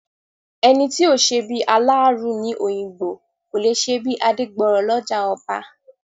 Ẹni tí ò ṣebí aláàárù ní Òyìngbò, kò lè ṣebí Adégbọrọ̀ lọ́jà ọba.